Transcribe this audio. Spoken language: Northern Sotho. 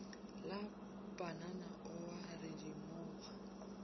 la panana o a redimoga